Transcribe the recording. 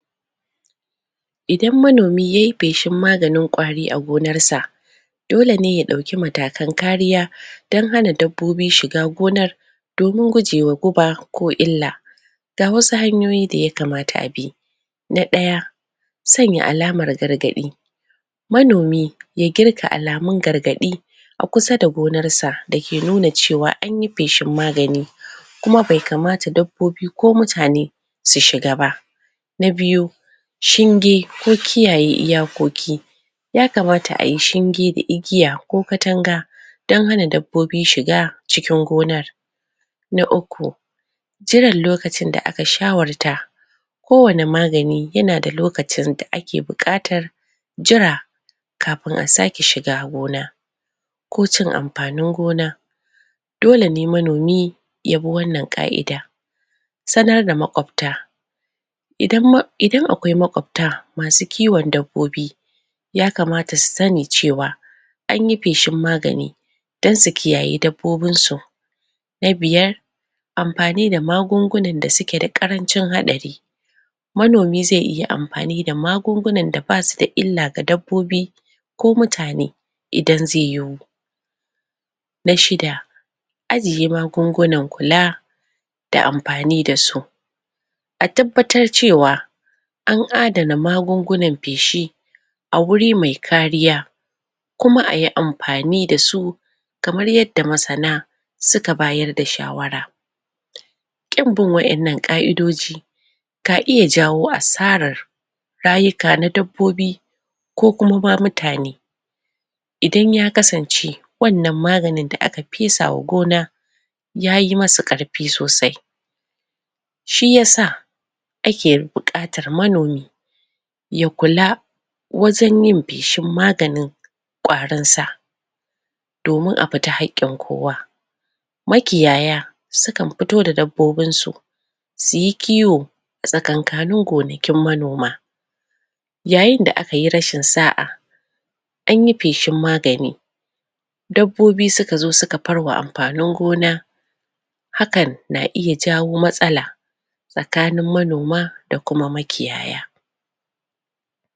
idan manomi yayi feshin maganin kwari a gonar sa dole ne ya dauki matrakan kariya dan hana dabbobi shiga gonar domin guje wa guba ko illa ga wasu hantoyi da ya kamata abi na daya sanya alamar gargadi manomi ya geta alamun gargadi a kusa da gonar sa dake nuna cewa anyi feshin magani kuma bai kamata dabbobi ko mutane su shiga ba na biyu shinge ko kiyaye iyakoki ya kamata ayi shinge da igiya ko katanga dan hana dabbobi shiga cikin gonar na uku tunda daga lokacin da aka shawarta ko wani magani yanda lokacin da ake bukatar jira kafin a sake shiga gonar ko cin amfanin gona dole ne manomi ya bi wannan qa'ida sanar da makwata idan akwai makwabta masu kiwan dabbobi ya kamata su sani cewa anyi feshin magani dan su kiyayi dabbobin su na biyar amfani da magungu nan da suke da karancin hatsari manomi zai iya amafani da magungunan da basu da illa ga dabbobi ko mutane idan zai yiwu na shida ajiye magungunan kula da amafani dasu a tabbatar cewa an adana magungu nan feshi a guri mai kariya kuma a yi amfani dasu kamar yadda masana suka bayar da shawara kin bin wa 'ya nan qa'idoji ka iya jawo asarar rayuka na dabbobi ko kuma ma mutane idan ya kasance wannan maganin da aka fesa a gona yayi masa karfi sosai shiyasa ake bukatar manomi ya kula wajen yin feshin maganin kwarin sa domin afita hakkin kowa ma kiyaya sukan fito da dabbobin su suyi kiwo tsakankanin gonakin manoma yayin da aka yi rashin sa'a anyi feshin magani dabbobi suka zo suka farwa amfanin gona hakan na iya ja wo matsala tsakanin manoma da kuma makiyaya